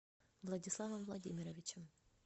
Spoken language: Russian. владиславом владимировичем